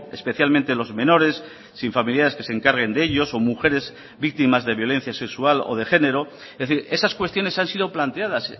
especialmente los menores sin familiares que se encarguen de ellos o mujeres víctimas de violencia sexual o de género es decir esas cuestiones han sido planteadas